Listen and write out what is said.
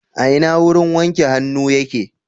A ina wurin wanke hannu yake.